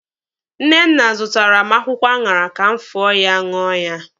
Nnenna zụtaara m akwụkwọ aṅara ka m fọọ ya ṅụọ ya.